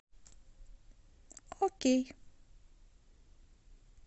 окей